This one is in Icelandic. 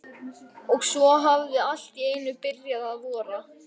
Og svo hafði allt í einu byrjað að vora.